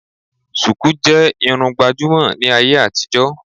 Sùkú jẹ́ Irun gbàjúmọ̀ ní ayé àtijó